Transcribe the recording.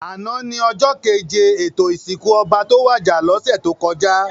Àná ni òjò kéjé étó isinkú òbá tó wàjá lòsè tókòjá